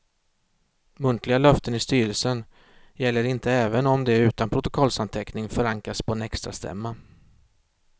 Muntliga löften i styrelsen gäller inte även om de utan protokollsanteckning förankrats på en extrastämma.